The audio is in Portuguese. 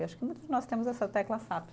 Eu acho que muitos de nós temos essa tecla sap.